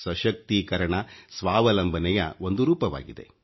ಸಶಕ್ತೀಕರಣ ಸ್ವಾವಲಂಬನೆಯ ಒಂದು ರೂಪವಾಗಿದೆ